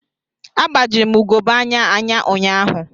Agbajiri m ugogbe anya anya ụnyahụ.